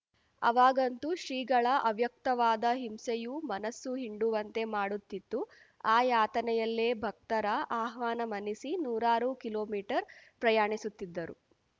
ಅವಾಗಂತು ಶ್ರೀಗಳ ಅವ್ಯಕ್ತವಾದ ಹಿಂಸೆಯೂ ಮನಸ್ಸು ಹಿಂಡುವಂತೆ ಮಾಡುತ್ತಿತ್ತು ಆ ಯಾತನೆಯಲ್ಲೇ ಭಕ್ತರ ಆಹ್ವಾನ ಮನ್ನಿಸಿ ನೂರಾರು ಕಿಲೋಮೀಟರ್ ಪ್ರಯಾಣಿಸುತ್ತಿದ್ದರು